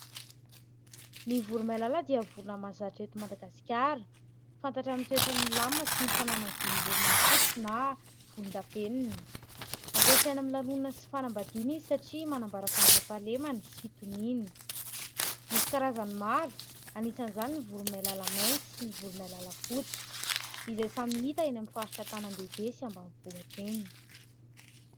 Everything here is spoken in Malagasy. Ny voromailala dia vorona mahazatra eto Madagasikara fantatra amin'ny toetrany milamina sy ny fananany volom-borona fotsy na volon-davenona. Ampiasaina ami'ny lanonana sy fanambadiana izy satria manambara fandriam-pahalemana sy fitoniana. Misy karazany maro anisan'izany ny voromailala mainty sy ny voromailala fotsy izay samy hita eny amin'ny faritra an-tanàn- dehibe sy ambany vohitra eny.